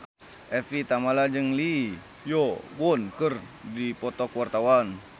Evie Tamala jeung Lee Yo Won keur dipoto ku wartawan